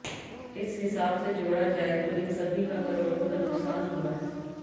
इस हिसाब से जोड़ा जाए तो इन सभी का करोड़ों का नुकसान हुआ है